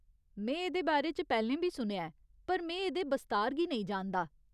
में एह्दे बारे च पैह्‌लें बी सुनेआ ऐ, पर में एह्दे बस्तार गी नेईं जानदा।